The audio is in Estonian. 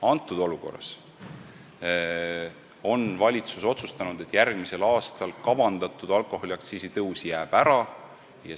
Praeguses olukorras on valitsus otsustanud, et järgmiseks aastaks kavandatud alkoholiaktsiisi tõus jääb ära.